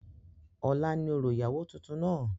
ọ̀la ni orò ìyàwó tuntun náà